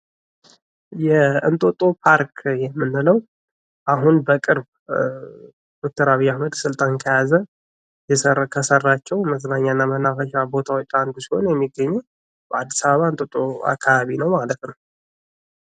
የእንጦጦ ፓርክ የምንለው አሁን በቅርብ ዶክተር አብይ አህመድ ስልጣን ከያዘ ከሰራቸው መዝናኛና የመናፈሻ ቦታዎች አንዱ ሲሆን አዲስ አበባ እንጦጦ አካባቢ ነው ማለት ነው።